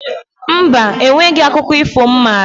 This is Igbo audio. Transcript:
Mba, o nweghi akụkọ ifo m maara